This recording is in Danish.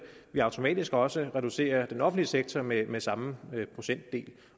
vi automatisk også reducere den offentlige sektor med med samme procentdel